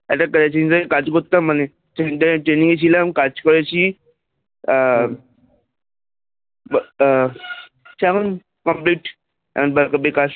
একটা কাজ করতাম মানে Training এ ছিলাম কাজ করেছি আহ আহ সে এখন complete এখন করলেই কাজ